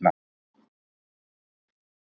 Það kemur í ljós seinna.